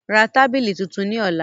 Ra tábìlì tuntun ní ọ̀la